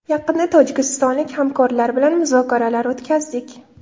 Yaqinda tojikistonlik hamkorlar bilan muzokaralar o‘tkazdik.